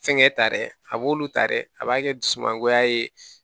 Fɛnkɛ ta dɛ a b'olu ta dɛ a b'a kɛ dusumangoya ye